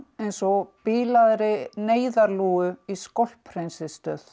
eins og bilaðri neyðarlúgu í